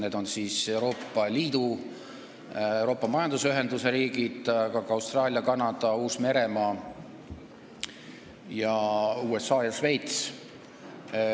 Need on siis Euroopa Liidu ja muud Euroopa Majanduspiirkonna riigid, aga ka Austraalia, Kanada, Uus-Meremaa, USA ja Šveits.